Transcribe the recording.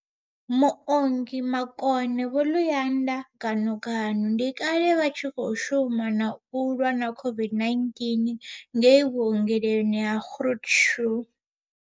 Muongi makone Vho Luyanda Ganuganu ndi kale vha tshi khou shuma kha u lwa na COVID-19 ngei vhuongeloni ha Groote Schuur.